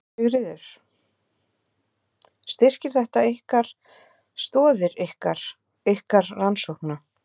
Sigríður: Styrkir þetta ykkar, stoðir ykkar, ykkar rannsókna?